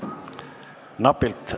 Palun võtke seisukoht ja hääletage!